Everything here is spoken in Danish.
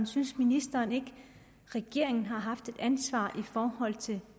synes ministeren ikke regeringen har haft et ansvar i forhold til